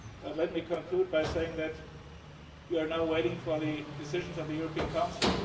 and also in inclusive banking. Let me conclude by saying that we are now waiting for the decisions